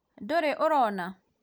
ndũrĩ ũrona?